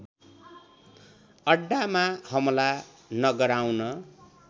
अड्डामा हमला नगराउन